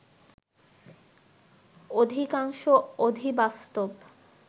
অধিকাংশ অধিবাস্তব